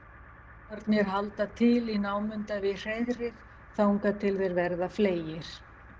ungarnir halda til í námunda við hreiðrið þangað til þeir verða fleygir